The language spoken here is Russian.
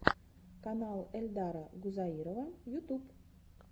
канал эльдара гузаирова ютуб